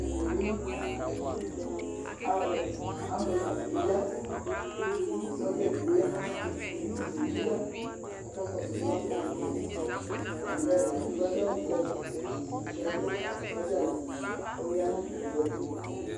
Ɛmɛ bɩ aw ambulas dɩ ya kʋ sɔdza edigbo ya nʋ ayɛtʋ, polisinɩ bɩ ya kʋ akakɔsʋ ambulas yɛ Atamɩ nʋ ɛla Edigbo adʋ awʋblɔ, kʋ edigno adʋ awʋ sɔdza awʋ kʋ ɔya nʋ owu yɛ tʋ